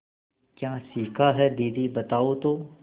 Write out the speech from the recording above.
क्या सीखा है दीदी बताओ तो